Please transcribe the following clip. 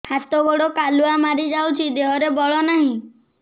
ହାତ ଗୋଡ଼ କାଲୁଆ ମାରି ଯାଉଛି ଦେହରେ ବଳ ନାହିଁ